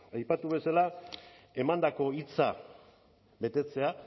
aipatu bezala emandako hitza betetzea